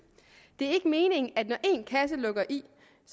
det er ikke meningen at når én kasse lukker i